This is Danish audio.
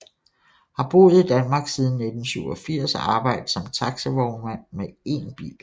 Har boet i Danmark siden 1987 og arbejdede som taxivognmand med én bil